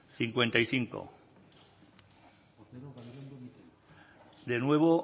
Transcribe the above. cincuenta y cinco de nuevo